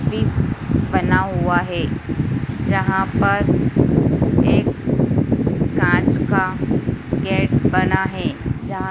फिस बना हुआ है। जहाँ पर एक कांच का बना है। जहां --